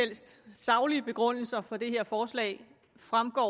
helst saglige begrundelser for det her forslag fremgår